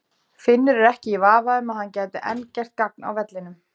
Finnur er ekki í vafa um að hann gæti enn gert gagn á vellinum.